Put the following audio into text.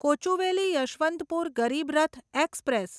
Kochuveli Yesvantpur Garib Rath express